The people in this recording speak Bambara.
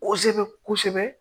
Kosɛbɛ kosɛbɛ